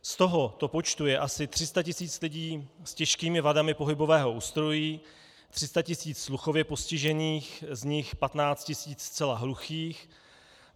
Z tohoto počtu je asi 300 tisíc lidí s těžkými vadami pohybového ústrojí, 300 tisíc sluchově postižených, z nich 15 tisíc zcela hluchých.